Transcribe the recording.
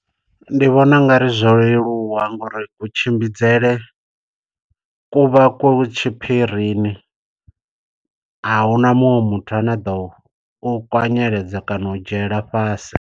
Ndi vhona u nga ri zwo leluwa ngori kutshimbidzele kuvha ku tshiphirini, ahuna muṅwe muthu ane a ḓo u kwanyeledza kana u dzhiela fhasi.